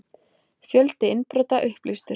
Fjöldi innbrota upplýstur